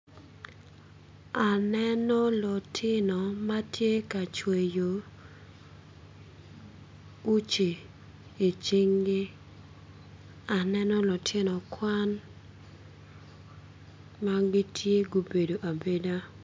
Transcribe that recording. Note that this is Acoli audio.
Aneno lutino ma tye ka cweyo uci icinggi aneno lutino kwan ma gitye gubedo abeda.